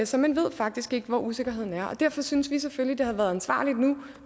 så man ved faktisk ikke hvad usikkerheden er og derfor synes vi selvfølgelig at det havde været ansvarligt nu